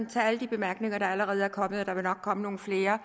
tage de bemærkninger der allerede er kommet og der vil nok komme nogle flere